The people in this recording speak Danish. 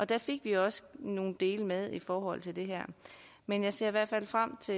der fik vi også nogle dele med i forhold til det her men jeg ser i hvert fald frem til